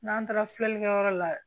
N'an taara filɛlikɛyɔrɔ la